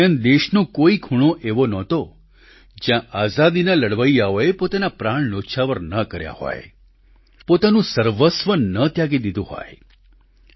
આ દરમિયાન દેશનો કોઈ ખૂણો એવો નહોતો જ્યાં આઝાદીના લડવૈયાઓએ પોતાના પ્રાણ ન્યોછાવર ન કર્યા હોય પોતાનું સર્વસ્વ ન ત્યાગી દીધું હોય